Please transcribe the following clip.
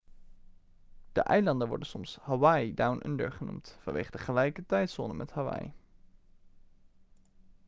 de eilanden worden soms hawaii down under' genoemd vanwege de gelijke tijdzone met hawaii